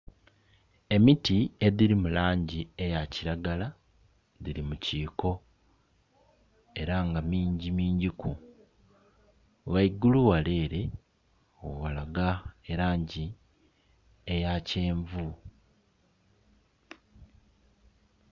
Emiti edhiri mulangi eya kilagala dhiri mu kiiko era nga mingi mingi ku. Ghaigulu ghale ere ghalaga elangi eya kyenvu.